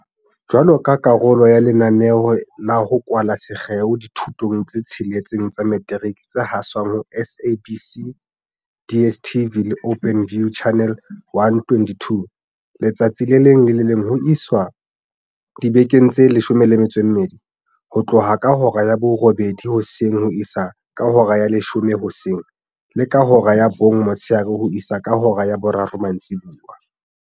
Jwaloka karolo ya lenaneo la ho kwala sekgeo dithutong tse tsheletseng tsa metiriki tse haswang ho SABC, DSTV le Openview, Channel 122 letsatsi le leng le le leng ho isa dibekeng tse 12, ho tloha ka hora ya borobedi hoseng ho isa ka hora ya leshome hoseng le ka hora ya bong motshehare ho isa ka hora ya boraro mantsibuya.